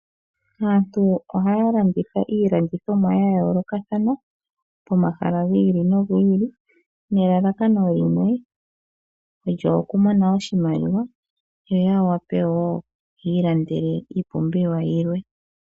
Aantu ohaya landitha iilandithomwa ya yoolokathana po mahala gi ili nogi ili nelalakano limwe olyo oku mona oshimaliwa yo ya wape wo yi ilandele iipumbiwa yilwe.